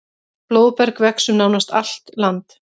Blóðberg vex um nánast allt land.